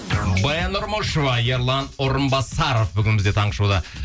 баян нұрмышева ерлан орынбасаров бүгін бізде таңғы шоуда